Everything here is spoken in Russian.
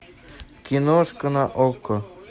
киношка на окко